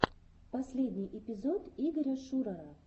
последний эпизод игоря шурара